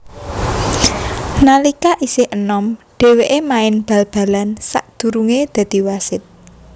Nalika isih enom dhèwèké main bal balan sadurungé dadi wasit